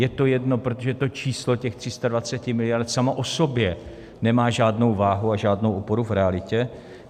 Je to jedno, protože to číslo těch 320 miliard samo o sobě nemá žádnou váhu a žádnou oporu v realitě.